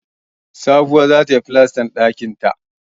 Sabuwa za ta yi falastan ɗakinta